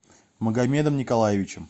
магомедом николаевичем